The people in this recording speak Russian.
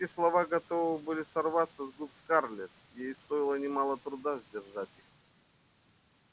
резкие слова готовы были сорваться с губ скарлетт ей стоило немало труда сдержать их